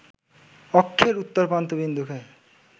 অক্ষের উত্তরপ্রান্ত বিন্দুকে